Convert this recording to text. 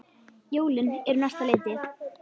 Jólin eru á næsta leiti.